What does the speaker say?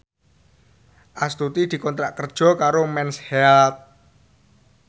Astuti dikontrak kerja karo Mens Health